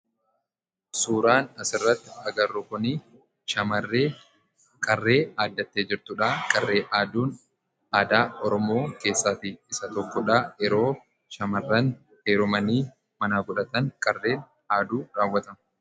Suuraan as irratti arginu kun shamarree qarree aaddattee jirtuu dha. Qarree aaduunis aadaa Oromoo keessaa isaa tokkoo dha. Kunis yeroo shamarran heerumanii mana godhatan kan rawwatamuu dha.